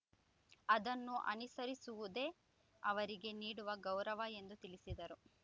ಅದನ್ನು ಅನುಸರಿಸುವುದೇ ಅವರಿಗೆ ನೀಡುವ ಗೌರವ ಎಂದು ತಿಳಿಸಿದರು